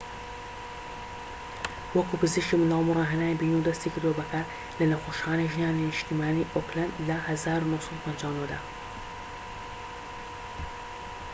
وەکو پزیشکی منداڵبوون ڕاهێنانی بینیوە و دەستی کردوە بە کار لە نەخۆشخانەی ژنانی نیشتیمانیی ئۆکلەند لە ١٩٥٩ دا